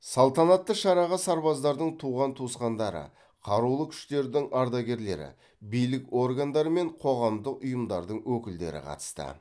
салтанатты шараға сарбаздардың туған туысқандары қарулы күштердің ардагерлері билік органдары мен қоғамдық ұйымдардың өкілдері қатысты